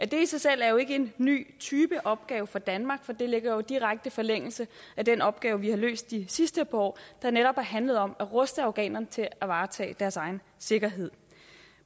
det er i sig selv jo ikke en ny type opgave for danmark for det ligger jo i direkte forlængelse af den opgave vi har løst de sidste par år der netop har handlet om at ruste afghanerne til at varetage deres egen sikkerhed